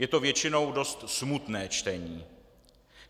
Je to většinou dost smutné čtení.